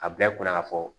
A bila i kunna ka fɔ